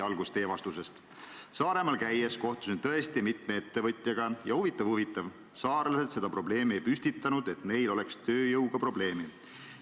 Teie vastus: "Aga Saaremaal käies kohtusin tõesti mitme ettevõtjaga ja, huvitav-huvitav, saarlased seda probleemi ei püstitanud, et neil oleks tööjõuga probleemi.